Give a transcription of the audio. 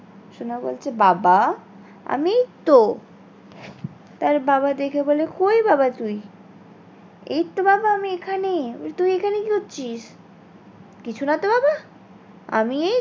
সোনা বলছে বাবা আমি এই তো তার বাবা দেখে বলে কোই বাবা তুই? এই তো বাবা আমি এখানে তুই এখানে কি করছিস? কিছু না তো বাবা আমি এই